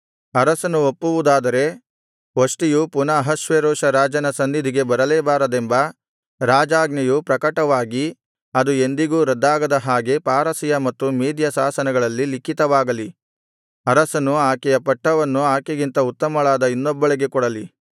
ಅರಸನು ಒಪ್ಪುವುದಾದರೆ ವಷ್ಟಿಯು ಪುನಃ ಅಹಷ್ವೇರೋಷ ರಾಜನು ಸನ್ನಿಧಿಗೆ ಬರಲೇ ಬಾರದೆಂಬ ರಾಜಾಜ್ಞೆಯು ಪ್ರಕಟವಾಗಿ ಅದು ಎಂದಿಗೂ ರದ್ದಾಗದ ಹಾಗೆ ಪಾರಸಿಯ ಮತ್ತು ಮೇದ್ಯ ಶಾಸನಗಳಲ್ಲಿ ಲಿಖಿತವಾಗಲಿ ಅರಸನು ಆಕೆಯ ಪಟ್ಟವನ್ನು ಆಕೆಗಿಂತ ಉತ್ತಮಳಾದ ಇನ್ನೊಬ್ಬಳಿಗೆ ಕೊಡಲಿ